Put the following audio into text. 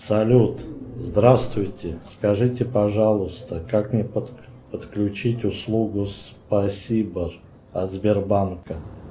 салют здравствуйте скажите пожалуйста как мне подключить услугу спасибо от сбербанка